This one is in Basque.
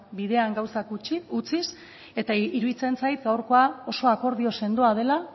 ba bueno bidean gauzak utziz eta iruditzen zait gaurko oso akordio sendoa dela